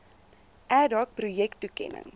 ad hoc projektoekennings